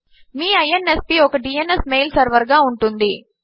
మీ ఇన్స్ప్ ఒక DNS mail server గా ఉంటుంది